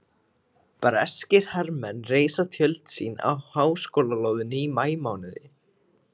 Breskir hermenn reisa tjöld sín á háskólalóðinni í maímánuði